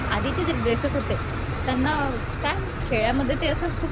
आधीचे जे ड्रेसेस होते त्यांना काय खेड्यामध्ये तेअसे खूप